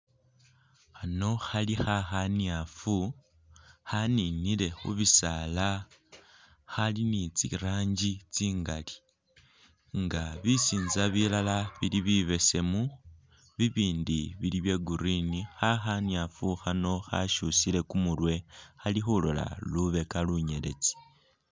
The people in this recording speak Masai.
Khano khali khakhanyafu ,khaninile khubisaala ,khali ni tsiranji tsingali nga bisinza bilala bili bibeseemu bibindi bili bye green ,khakhanyafu khano khashusile kumurwe khali khulola lubeka lunyeletsi